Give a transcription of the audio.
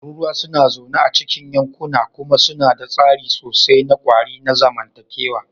Tururuwa suna zaune a cikin yankuna kuma suna da tsari sosai na ƙwari na zamantakewa.